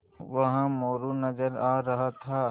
वहाँ मोरू नज़र आ रहा था